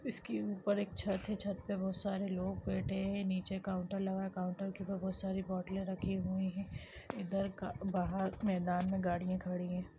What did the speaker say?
इसके ऊपर एक छत है छत में बहुत सरे लोग बैठे हैं निचे काउंटर लगा है काउंटर के ऊपर बहुत सारी इधर बाहर मैदान में गाड़िया खड़ी है।